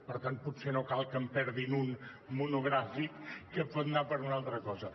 per tant potser no cal que en perdin un de monogràfic que pot anar per una altra cosa